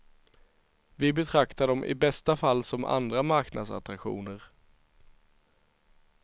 Vi betraktar dem i bästa fall som andra marknadsattraktioner.